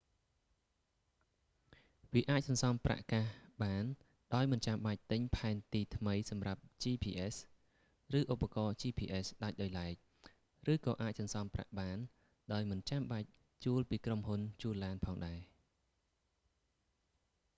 វាអាចសន្សំប្រាក់កាសបានដោយមិនចាំបាច់ទិញផែនទីថ្មីសម្រាប់ gps ឬឧបករណ៍ gps ដាច់ដោយឡែក ឬក៏អាចសន្សំប្រាក់បានដោយមិនចាំបាច់ជួលពីក្រុមហ៊ុនជួលឡានផងដែរ